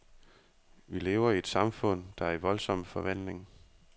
Vi lever i et samfund, der er i voldsom forvandling.